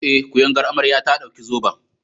Eh, kuyangar amarya ta ɗauki zoben.